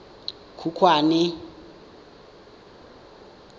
khukhwane